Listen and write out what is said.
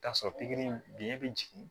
K'a sɔrɔ pikiri biyɛn bɛ jigin